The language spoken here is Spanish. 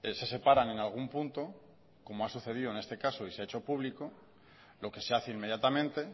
se separan en algún punto como ha sucedido en este caso y se ha hecho público lo que se hace inmediatamente